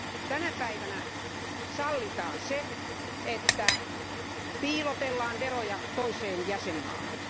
Tänä päivänä sallitaan se, että piilotellaan veroja toiseen jäsenvaltioon.